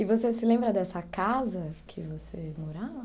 E você se lembra dessa casa que você morava?